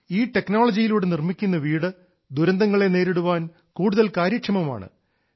ഈ ടെക്നോളജിയിലൂടെ നിർമിക്കുന്ന വീട് ദുരന്തങ്ങളെ നേരിടാൻ കൂടുതൽ കാര്യക്ഷമമാണ്